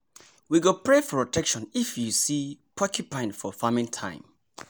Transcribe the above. go pray for protection if see porcupine for farming time